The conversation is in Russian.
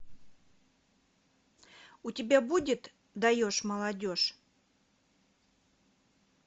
у тебя будет даешь молодежь